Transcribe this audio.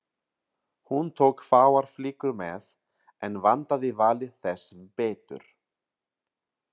Hún tók fáar flíkur með en vandaði valið þess betur.